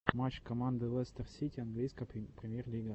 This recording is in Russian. матч команды лестер сити английская премьер лига